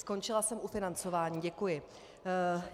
Skončila jsem u financování, děkuji.